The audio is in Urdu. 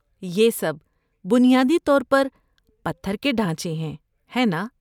یہ سب بنیادی طور پر پتھر کے ڈھانچے ہیں، ہیں نا؟